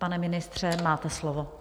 Pane ministře, máte slovo.